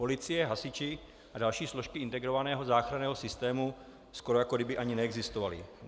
Policie, hasiči a další složky integrovaného záchranného systému skoro jako kdyby ani neexistovaly.